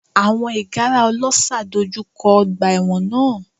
Àwọn ìgárá ọlọ́ṣà dojú kọ ọgbà ẹ̀wọ̀n náà.